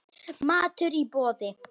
Matur í boði.